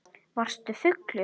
Varstu fullur?